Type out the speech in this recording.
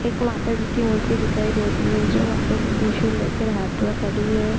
एक माता जी की मूर्ति दिखाई दे रही है जो माता जी त्रशूल लेकर हाथ मे खड़ी है।